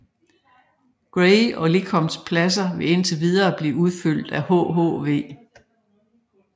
Gray og Lecompts pladser vil indtil videre blive udfyldt af hhv